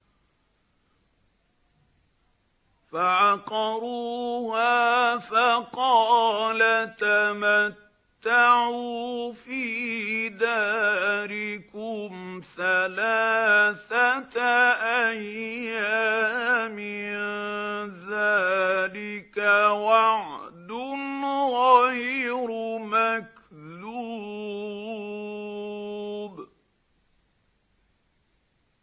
فَعَقَرُوهَا فَقَالَ تَمَتَّعُوا فِي دَارِكُمْ ثَلَاثَةَ أَيَّامٍ ۖ ذَٰلِكَ وَعْدٌ غَيْرُ مَكْذُوبٍ